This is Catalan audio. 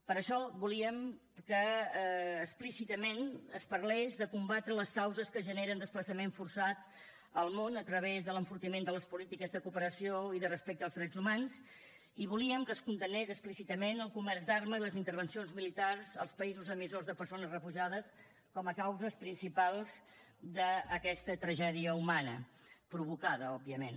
per això volíem que explícitament es parlés de combatre les causes que generen desplaçament forçat al món a través de l’enfortiment de les polítiques de cooperació i de respecte als drets humans i volíem que es condemnés explícitament el comerç d’armes i les intervencions militars als països emissors de persones refugiades com a causes principals d’aquesta tragèdia humana provocada òbviament